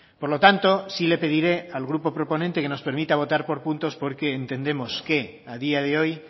por lo tanto sí le pediré al grupo proponente que nos permita votar por puntos porque entendemos que a día de hoy